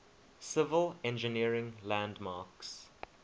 civil engineering landmarks